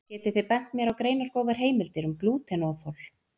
getið þið bent mér á greinargóðar heimildir um glútenóþol